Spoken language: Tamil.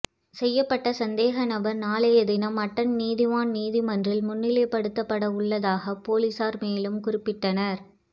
செய்யபட்ட சந்தேக நபர் நாளைய தினம் அட்டன் நீதவான் நீதிமன்றில் முன்னிலைபடுத்தப்பட உள்ளதாக பொலிஸார் மேலும் குறிப்பிட்டனர்